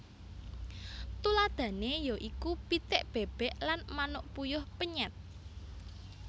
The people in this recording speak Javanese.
Tuladhané ya iku pitik bèbèk lan manuk puyuh penyèt